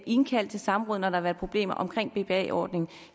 indkaldt til samråd når der har været problemer omkring bpa ordningen